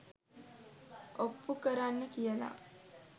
ඔප්පු කරන්න කියලා